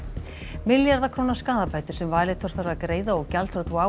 milljarða króna skaðabætur sem Valitor þarf að greiða og gjaldþrot WOW